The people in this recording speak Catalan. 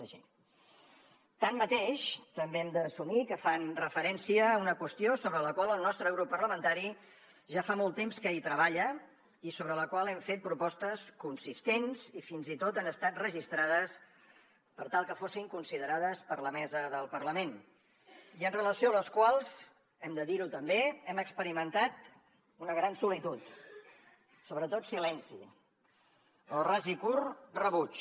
tanmateix també hem d’assumir que fan referència a una qüestió sobre la qual el nostre grup parlamentari ja fa molt temps que hi treballa i sobre la qual hem fet propostes consistents i fins i tot han estat registrades per tal que fossin considerades per la mesa del parlament i amb relació a les quals hem de dir ho també hem experimentat una gran solitud sobretot silenci o ras i curt rebuig